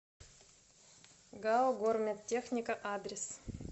гау гормедтехника адрес